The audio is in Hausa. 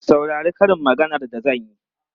Saurari karin maganar da zan yi!